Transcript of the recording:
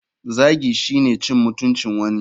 Zagi shine cin mutuncin wani.